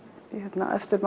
eftir